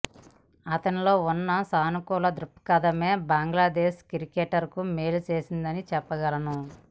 అతనిలో ఉన్న సానుకూల థృక్పథమే బంగ్లాదేశ్ క్రికెట్కు మేలు చేసిందని చెప్పగలను